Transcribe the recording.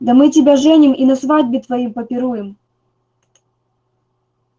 да мы тебя женим и на свадьбе твоей попируем